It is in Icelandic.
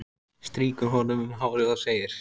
Strýkur honum um hárið og segir: